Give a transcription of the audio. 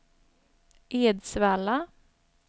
Edsvalla